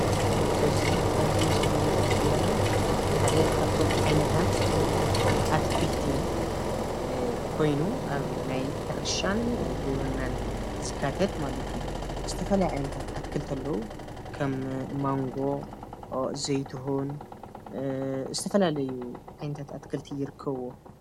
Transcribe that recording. እዚ አብዚ ምስሊ ንሪኢ ዘለና ሓደ ካብቶም ዓይነታት አትክልቲ ኮይኑ አብ ናይ ሕርሻን ግብርናን ዝካተት ማለት እዩ ዝተፈላለዩ ዓይነታት አትክልቲ አለዉ፡፡ ከም ማንጎ ፣ዘይትሁን ዝተፈላለዩ ዓይነታት አትክልቲ ይርከብዎ፡፡